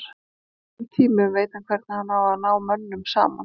Á erfiðum tímum veit hann hvernig hann á að ná mönnum saman.